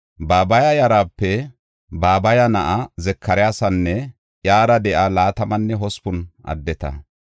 Bebaya yaraape Bebaya na7aa Zakariyasanne iyara de7iya laatamanne hospun addeta,